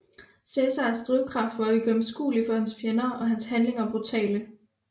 Cesares drivkraft var uigennemskuelig for hans fjender og hans handlinger brutale